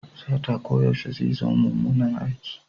Sata koyaushe zai zama mummunan aiki.